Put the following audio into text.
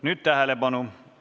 Nüüd tähelepanu!